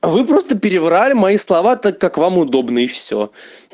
а вы просто переврали мои слова так как вам удобно и все